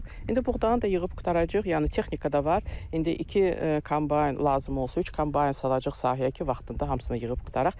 İndi buğdanı da yığıb qurtaracağıq, yəni texnika da var, indi iki kombayn lazım olsa, üç kombayn salacağıq sahəyə ki, vaxtında hamısını yığıb qurtaraq.